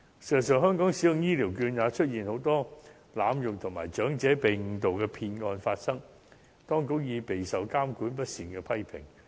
事實上，在香港使用醫療券也出現很多濫用情況，也有長者被誤導的騙案發生，當局已備受監管不善的批評。